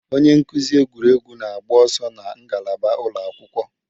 Onye nkuzi egwuregwu na-agba ọsọ na ngalaba ụlọ akwụkwọ.